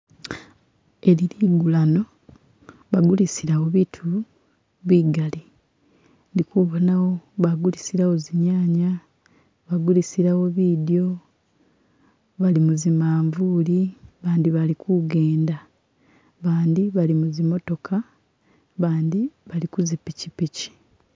Eli ligulano bagulisilawo bitu bigali ndi kubonawo bagulisilawo zinyanya bagulisilawo bidyo bali muzimavuli bandi bali kugenda bandi bali muzi motoka bandi bali kuzipichipichi